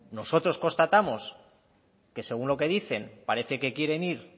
nosotros constatamos que según lo que dicen parece que quiere ir